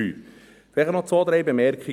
Vielleicht noch zwei, drei Bemerkungen.